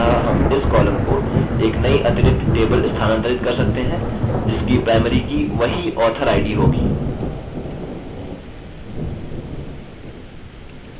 अतः हम इस column को एक नई अतिरिक्त table स्थानांतरित कर सकते हैं जिसकी primary की वही author id होगी